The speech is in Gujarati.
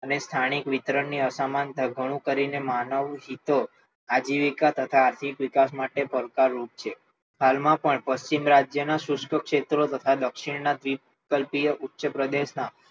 અને સ્થાનિક વિતરણ ની અસમાનતા ઘણું કરીને માનવ હિતો આજીવિકા તથા આર્થિક વિકાસ માટે પણ પડકારરૂપ છે હાલમાં પણ પશ્ચિમ રાજ્યનો શુષ્ક ક્ષેત્રો તથા દક્ષિણના ઉચ્ચપ્રદેશના